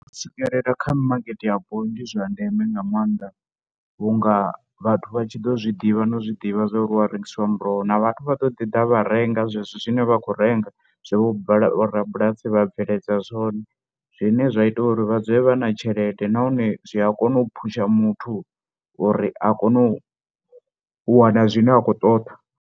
U swikelela kha mimakete yapo ndi zwa ndeme nga maanḓa vhu nga vhathu vha tshi ḓo zwi ḓivha na i zwi ḓivha zwa uri hu a rengiswa muroho na vhathu vha ḓo ḓi ḓa vha renga zwezwo zwine vha khou renga, zwe vhorabulasi vha bveledza zwone, zwine zwa ita uri vha dzule vha na tshelede nahone zwi a kona u phusha muthu uri a kone u wana zwine a khou ṱoḓa.